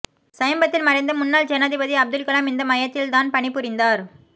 சமீபத்தில் மறைந்த முன்னாள் ஜனாதிபதி அப்துல்கலாம் இந்த மையத்தில் தான் பணி புரிந்தார்